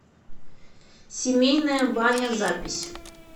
семейная баня запись